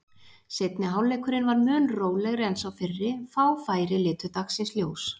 Seinni hálfleikurinn var mun rólegri en sá fyrri, fá færi litu dagsins ljós.